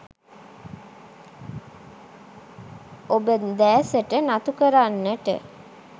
ඔබ දෑසට නතු කරන්නට